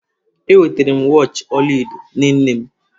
Enwetara m wachi ọla edo nye nne m.